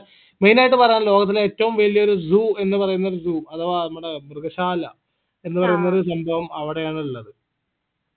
main ആയിട്ട് പറയാനുള്ളത് ലോകത്തിലെ ഏറ്റവും വലിയൊരു zoo എന്ന് പറയുന്നൊരു zoo എന്ന് പറയുന്നൊരു zoo അഥവാ നമ്മടെ മൃഗശാല പറയുന്നൊരു സംഭവം അവിടെയാണ് ഇള്ളത്